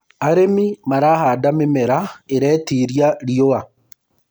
arĩmi marahanda mĩmera iretĩĩria riũa